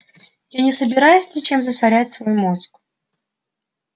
я не собираюсь ничем засорять свой мозг